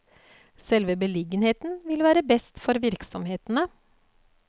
Selve beliggenheten vil være best for virksomhetene.